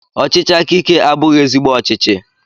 Ọchịchị aka ike abụghị ezigbo ọchịchị